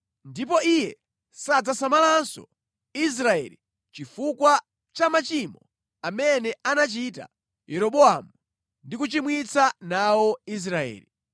Ndipo Iye sadzasamalanso Israeli chifukwa cha machimo amene anachita Yeroboamu ndi kuchimwitsa nawo Israeli.”